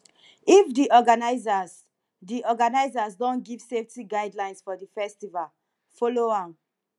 if di organisers di organisers don give safety guidlines for di festival follow am